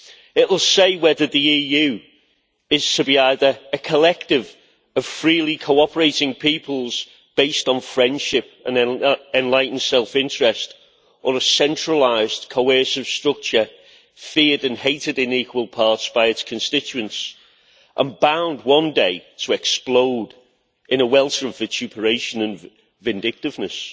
It will say whether the EU is to be a collective of freely cooperating peoples, based on friendship and enlightened self interest, or a centralised coercive structure feared and hated in equal parts by its constituents, and bound one day to explode in a welter of vituperation and vindictiveness.